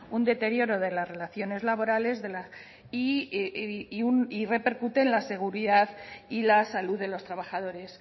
un deterioro de las relaciones laborales y repercuten en la seguridad y la salud de los trabajadores